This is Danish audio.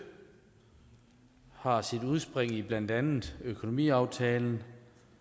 har sit udspring i blandt andet økonomiaftalen